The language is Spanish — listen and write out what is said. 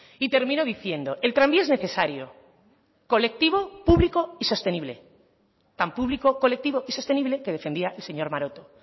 y termino diciendo el tranvía es necesario colectivo público y sostenible tan público colectivo y sostenible que defendía el señor maroto